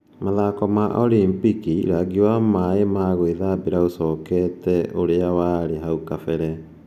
Mathako ma Olimpiki: Rangi wa maĩ ma gwĩthambĩra ũcokete ũrĩa warĩ hau kabere